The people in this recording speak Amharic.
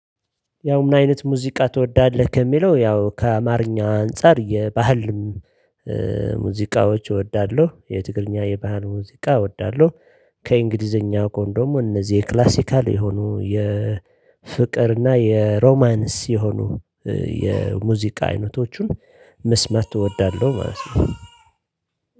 ያው ምን አይነት ሙዚቃ ትወዳለህ? ከሚለው ያው ከአማርኛ አንፃር የባህል ሙዚቃዎች እወዳለሁ የትግርኛ የባህል ሙዚቃ እወዳለሁ። ከእንግሊዘኛ ጎን ደግሞ እነዚህ የክላሲካል የሆኑ የፍቅር እና የሮማንስ የሆኑ የሙዚቃ አይነቶቹን ምስማት እወዳለሁ ማለት ነው